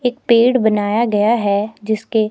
एक पेड़ बनाया गया है जिसके--